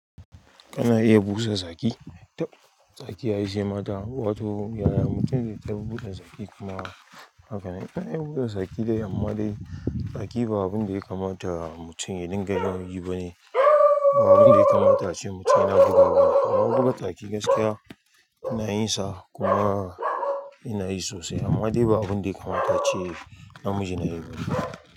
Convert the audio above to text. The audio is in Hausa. Ana iya busa saki, tab saki yayi shima wato yaya mutum zai ta buɗe saki kuma haka na iya buɗe saki dai amma dai saki ba abun da ya kamata mutum ya dinga yin yi bane. Ba abun da ya kamata ce mutum ya buɗe ba. Amma buɗe saki gaskiya ina yinsa kuma ina yi sosai amma dai ba abun da ya kamata ce namiji ya yi bane.